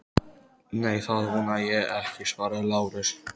Nei, það vona ég ekki, svaraði Lárus.